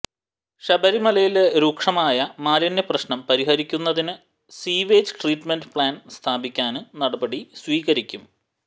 ശബരിമലയിലെ രൂക്ഷമായ മാലിന്യപ്രശ്നം പരിഹരിക്കുന്നതിന് സ്വീവേജ് ട്രീറ്റുമെന്റ് പ്ലാന്റ് സ്ഥാപിക്കാന് നടപടി സ്വീകരിക്കും